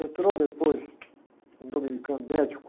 Entrou depois um dominicano médico,